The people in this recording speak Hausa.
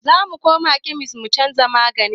Zamu koma kemis mu canza maganin